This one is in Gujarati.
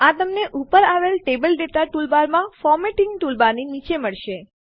આ તમને ઉપર આવેલ ટેબલ ડેટા ટૂલબારમાં ફોર્મેટિંગ ટૂલબારની નીચે મળશે